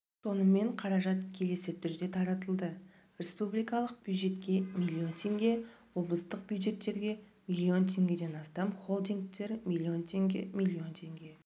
сонымен қаражат келесі түрде таратылды республикалық бюджетке млн теңге облыстық бюджеттерге млн теңгеден астам холдингтер млн теңге млн теңге